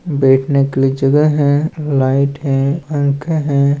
बैठने के लिए जगह है लाइट है पंखे है।